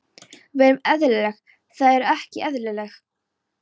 Við erum eðlileg, þið eruð ekki eðlileg.